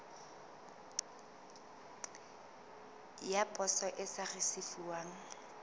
ya poso e sa risefuwang